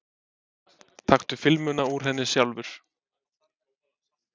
Taktu filmuna úr henni sjálfur!